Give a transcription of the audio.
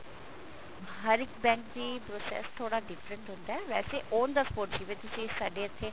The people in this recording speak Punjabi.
ਹਰ ਇੱਕ bank ਦੀ process ਥੋੜਾ different ਹੁੰਦਾ ਵੈਸੇ on the spot ਜਿਵੇਂ ਤੁਸੀਂ ਸਾਡੇ ਇੱਥੇ